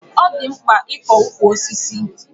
Ọ dị mkpa ịkọ ukwu osisi.